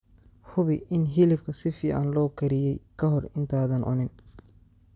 Hubi in hilibka si fiican loo kariyey ka hor intaadan cunin.